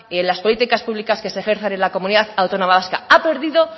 en las políticas públicas que se ejerzan en la comunidad autónoma vasca ha perdido